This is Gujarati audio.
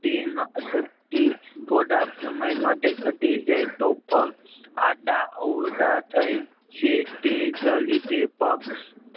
શક્તિ થોડા સમય માટે ઘટી જાય તો પગ આડા અવળા થય છે તેજ લીધે પગ